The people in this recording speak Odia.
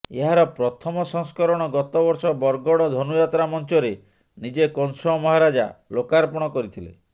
ଏହାର ପ୍ରଥମ ସଂସ୍କରଣ ଗତବର୍ଷ ବରଗଡ଼ ଧନୁଯାତ୍ରା ମଞ୍ଚରେ ନିଜେ କଂସ ମହାରାଜା ଲୋକାର୍ପଣ କରିଥିଲେ